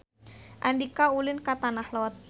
Andika ulin ka Tanah Lot